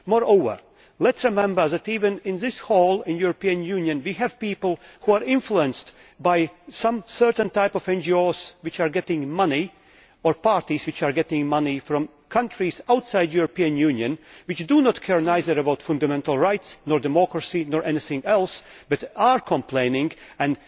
Moreover, let us remember that even in this Chamber in the European Union we have people who are influenced by certain types of NGOs which are getting money, or by parties which are getting money, from countries outside the European Union which do not care about fundamental rights or democracy or anything else, but which complain and